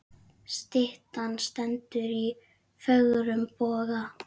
Styttan stendur í fögrum boga.